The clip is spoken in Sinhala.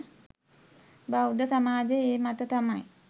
බෞද්ධ සමාජයේ ඒ මත තමයි